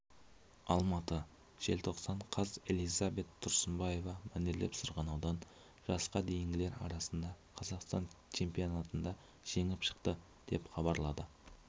алматы желтоқсан қаз элизабет тұрсынбаева мәнерлеп сырғанаудан жасқа дейінгілер арасында қазақстан чемпионатында жеңіп шықты деп хабарлады